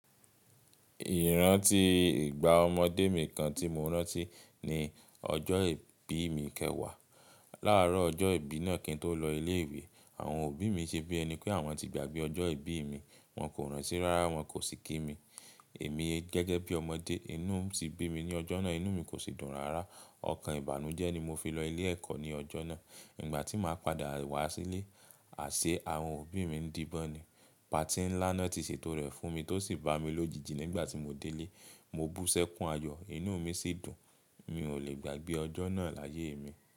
Ìrántí ìgbà ọmọdé mi kan tí mo rántí ni ọjọ́ ìbí mi kẹwàá. Láàárọ̀ ọjọ́ ìbí náà kí n tó lọ ilé-ìwé, àwọn òbí mi ṣe bí ẹni pé àwọn ti gbàgbé ọjọ́ ìbí mi, wọ́n kò rántí rárá, wọ́n kò sì kí mi. Èmi gẹ́gẹ́ bí ọmọdé, inú ti bí mi ní ọjọ́ náà, inú mi kò sì dùn rárá. Ọkàn ìbànújẹ́ ni mo fi lọ ilé-ẹ̀kọ́ ní ọjọ́ náà. Nígbà tí màá padà wá sílé, àṣẹ àwọn òbí mi di bọ́ni. Patí ńlá náà ti ṣètò rẹ̀ fún mi tó sì bá mi lójijì nígbà tí mo dé lé. Mo bú sẹ́kùn ayọ̀, inú mi sì dùn. Mi ò lè gbàgbé ọjọ́ náà láyé mi.